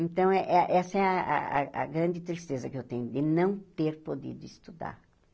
Então, é é essa é a a a grande tristeza que eu tenho, de não ter podido estudar.